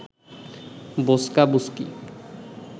বোঁচকা বুচকি